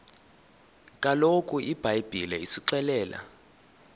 kaloku ibhayibhile isixelela